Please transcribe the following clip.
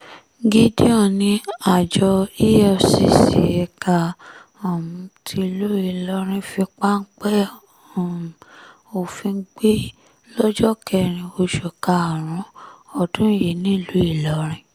gideon ní àjọ efcc ẹ̀ka um tìlú ìlọrin fi páńpẹ́ um òfin gbé lọ́jọ́ kẹrin oṣù karùn-ún ọdún yìí nílùú ìlọrin